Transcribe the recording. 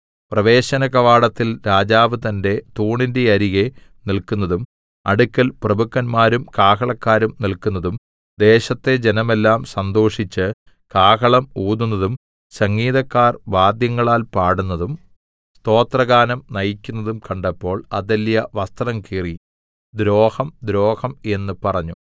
പ്രവേശനകവാടത്തിൽ രാജാവ് തന്റെ തൂണിന്റെ അരികെ നില്ക്കുന്നതും അടുക്കൽ പ്രഭുക്കന്മാരും കാഹളക്കാരും നില്ക്കുന്നതും ദേശത്തെ ജനമെല്ലാം സന്തോഷിച്ച് കാഹളം ഊതുന്നതും സംഗീതക്കാർ വാദ്യങ്ങളാൽ പാടുന്നതും സ്തോത്രഗാനം നയിക്കുന്നതും കണ്ടപ്പോൾ അഥല്യാ വസ്ത്രം കീറി ദ്രോഹം ദ്രോഹം എന്ന് പറഞ്ഞു